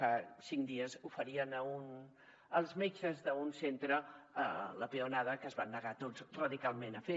fa cinc dies oferien als metges d’un centre la peonada que es van negar tots radicalment a fer